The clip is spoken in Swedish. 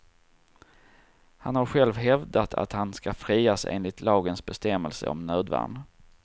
Han har själv hävdat att han ska frias enligt lagens bestämmelse om nödvärn.